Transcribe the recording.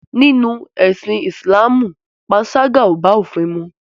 Nínú ẹ̀sìn Ìsìlámù panṣágà ò bá òfin mu.